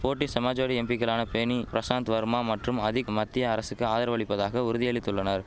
போட்டி சமாஜ்வாடி எம்பிக்களான பேனி பிரசாந்த் வர்மா மற்றும் அதிக் மத்திய அரசுக்கு ஆதரவளிப்பதாக உறுதியளித்துள்ளனர்